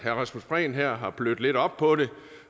rasmus prehn her har blødt lidt op på det